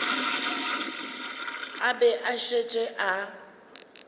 a be a šetše a